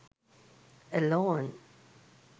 alone